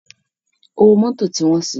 Ówó Mòtó ti wòn si